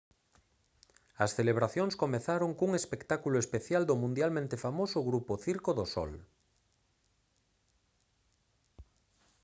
as celebracións comezaron cun espectáculo especial do mundialmente famoso grupo circo do sol